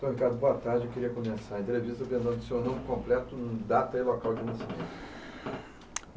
Seu Ricardo boa tarde. Eu queria começar a entrevista, vendo o seu nome completo, data e local de nascimento.